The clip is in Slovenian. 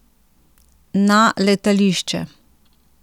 Na letališče?